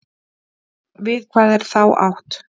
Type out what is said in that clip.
Við hvað er þá átt?